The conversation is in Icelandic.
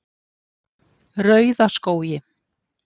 Rauðaskógi